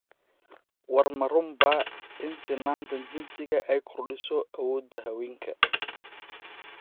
War ma runbaa in sinnaanta jinsiga ay kordhiso awoodda haweenka?